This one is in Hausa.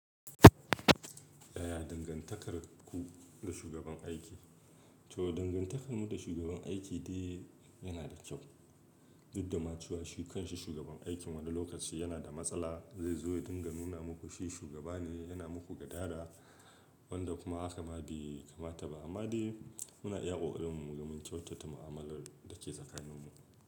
Yaya dangantakarku da shugaban aiki? To dangantakarmu da shugaban aiki dai yanada kyau duk da ma cewa shi kanshi shugaban aikin wani lokacin yana da matsala zai zo ya dinga nuna maku shi shugabane yana gadara wanda kuma hakama bai kamata ba amma dai muna iya ƙoƙarin mu muga mun kyautata mu'amalar da ke tsakanin mu.